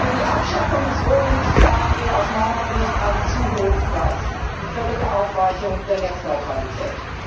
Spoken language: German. Für die Abschaffung des Roamings zahlen wir aus meiner Sicht einen zu hohen Preis die völlige Aufweichung der Netzneutralität.